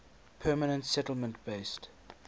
permanent settlement based